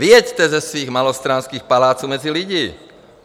Vyjeďte ze svých malostranských paláců mezi lidi.